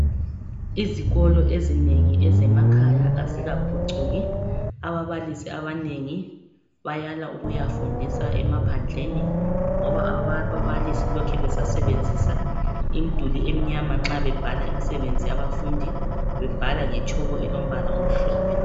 Izikolo ezinengi ezemakhaya azikaphucuki. Ababalisi abanengi bayala ukuyafundisa emaphandleni. Ngoba ababalisi lokhe besasebenzisa imduli emnyama nxa bebhala imisebenzi yabafundi bebhala ngetshoko elombala emhlophe.